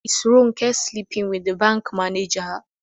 Is Ronke sleeping with the bank manager?